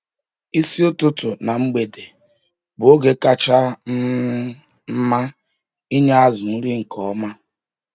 Isi ụtụtụ na mgbede bụ oge kacha um mma inye azụ nri nke ọma.